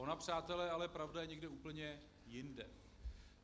Ona, přátelé, je pravda ale někde úplně jinde.